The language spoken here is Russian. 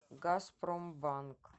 газпромбанк